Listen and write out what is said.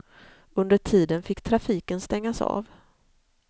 Under tiden fick trafiken stängas av.